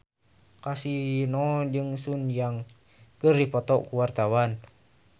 Kasino jeung Sun Yang keur dipoto ku wartawan